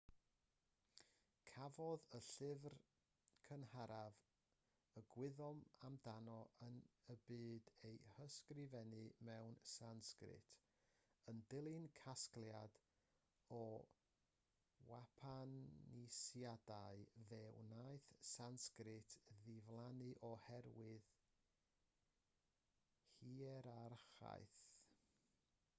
cafodd y llyfr cynharaf y gwyddom amdano yn y byd ei ysgrifennu mewn sansgrit yn dilyn casgliad o wpanisiadau fe wnaeth sansgrit ddiflannu oherwydd hierarchaeth